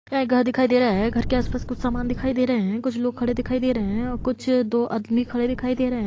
यहां एक घर दिखाई दे रहा है घर के आस-पास कुछ समान दिखाई दे रहे कुछ लोग खड़े दिखाई दे रहे है और कुछ दो आदमी खड़े दिखाई दे रहे है।